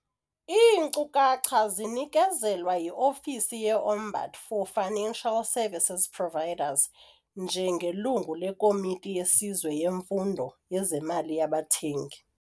Iinkcukacha zinikezelwa yi-Ofisi ye-Ombud for Financial Services Providers njengelungu leKomiti yeSizwe yeMfundo yezeMali yaBathengi.